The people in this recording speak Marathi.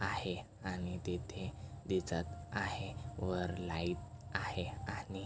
आहे आणि तेथे दिसत आहे वर लाइट आहे आणि --